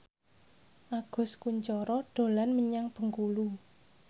Agus Kuncoro dolan menyang Bengkulu